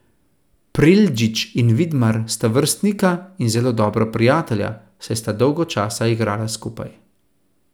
Preldžić in Vidmar sta vrstnika in zelo dobra prijatelja, saj sta dolgo časa igrala skupaj.